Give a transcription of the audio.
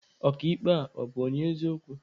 Ọka ikpe a, ọ bụ onye eziokwu?